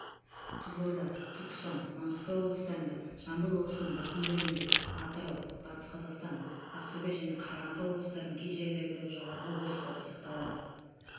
қызылорда түркістан маңғыстау облыстарында жамбыл облысының басым бөлігінде атырау батыс қазақстан ақтөбе және қарағанды облыстарының кей жерлерінде жоғары өрт қауіпі сақталады